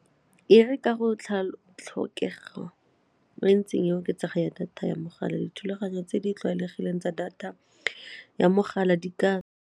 E re ka go tlhokego e e ntseng e oketsega ya data ya mogala dithulaganyo tse di tlwaelegileng tsa data ya mogala di ka.